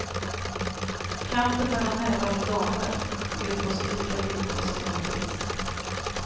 Kampen mellan herrar och damer sker på så lika villkor som möjligt.